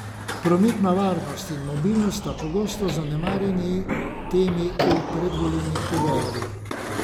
Prometna varnost in mobilnost sta pogosto zanemarjeni temi v predvolilnih pogovorih.